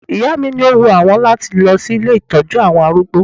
Ìyá mi ni ó wun àwọn láti lọ sí ilé ìtọ́jú àwọn arúgbó